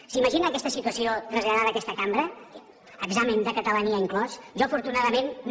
s’imaginen aquesta situació traslladada a aquesta cambra examen de catalania inclòs jo afortunadament no